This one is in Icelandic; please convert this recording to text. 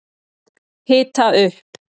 Hita upp